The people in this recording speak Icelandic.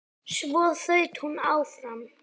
Svo þaut hún áfram.